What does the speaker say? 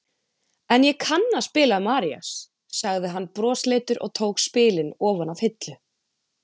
En ég kann að spila Marías, sagði hann brosleitur og tók spilin ofan af hillu.